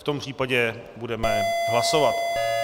V tom případě budeme hlasovat.